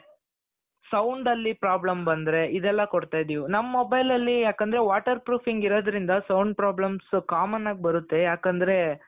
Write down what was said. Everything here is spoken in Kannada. sound ಅಲ್ಲಿ problem ಬಂದ್ರೆ ಇದೆಲ್ಲಾ ಕೊಡ್ತಾ ಇದೀವಿ ನಮ್ mobileಅಲ್ಲಿ ಯಾಕೆಂದ್ರೆ water proofing ಇರೋದ್ರಿಂದ sound problems common ಆಗಿ ಬರುತ್ತೆ ಯಾಕೆಂದ್ರೆ